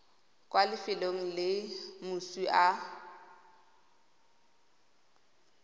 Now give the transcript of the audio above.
kwa lefelong le moswi a